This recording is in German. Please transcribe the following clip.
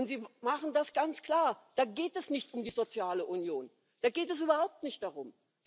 Und Sie machen das ganz klar Da geht es nicht um die soziale Union, da geht es überhaupt nicht darum.